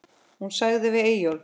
Hún sagði við Eyjólf